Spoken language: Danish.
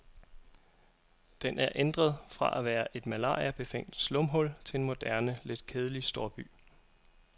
Den er ændret fra at være et malariabefængt slumhul til en moderne lidt kedelig storby.